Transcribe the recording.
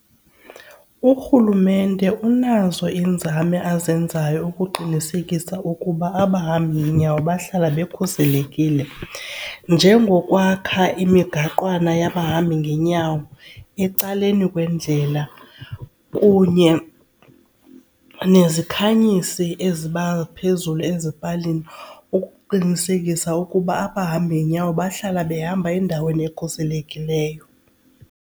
Urhulumente unazo iinzame azenzayo ukuqinisekisa ukuba abahambi ngeenyawo bahlale bekhuselekile njengokwakha imigaqwana yabahambi ngeenyawo ecaleni kwendlela kunye nezikhanyisi eziba phezulu ezipalini ukuqinisekisa ukuba abahambi ngeenyawo bahlala behamba endaweni ekhuselekileyo.